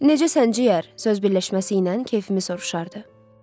Necə səncə ciyər? söz birləşməsi ilə keyfimi soruşardı.